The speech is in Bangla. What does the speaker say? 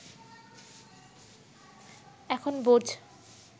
এখন বোঝ্